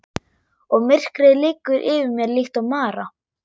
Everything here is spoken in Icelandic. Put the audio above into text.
Og myrkrið liggur yfir mér líkt og mara.